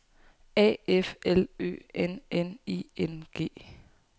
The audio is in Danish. A F L Ø N N I N G